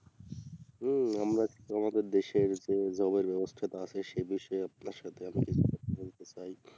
হুম আমরাতো আমাদের দেশের যে job এর ব্যাবস্থাটা আছে সে বিষয়ে আপনার সাথে এখন কিছু কথা বলতে চাই